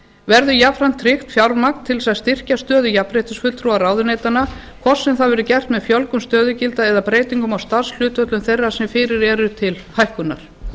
verði jafnframt tryggt fjármagn til að tryggja stöðu jafnréttisfulltrúa ráðuneytanna hvort sem það verður gert með fjölgun stöðugilda eða breytingum á starfshlutföllum þeirra sem fyrir eru til hækkunar